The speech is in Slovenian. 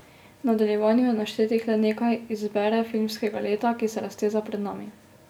V nadaljevanju je naštetih le nekaj iz bere filmskega leta, ki se razteza pred nami.